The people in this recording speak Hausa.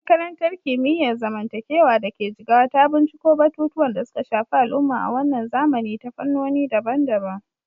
Makarantar Kimiyyar Zamantakewa da ke Jigawa ta binciko batutuwan da suka shafi al'umma a wannan zamani ta fannoni daban-daban.